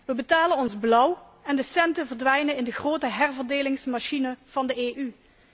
We betalen ons blauw en de centen verdwijnen in de grote herverdelingsmachine van de EU.